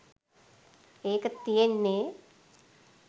ඒක තියෙන්නෙ